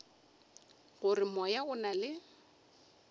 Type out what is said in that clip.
gore moya o na le